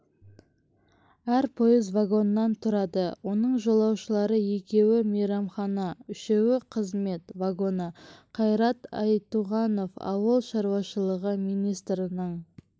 әр пойыз вагоннан тұрады оның жолаушылар екеуі мейрамхана үшеуі қызмет вагоны қайрат айтуғанов ауыл шаруашылығы министрінің